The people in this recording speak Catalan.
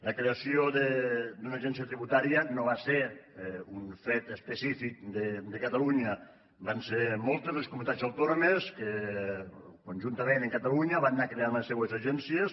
la creació d’una agència tributària no va ser un fet específic de catalunya van ser moltes les comunitats autònomes que conjuntament amb catalunya van anar creant les seues agències